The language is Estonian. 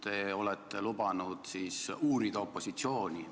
Te olete lubanud uurida opositsiooni.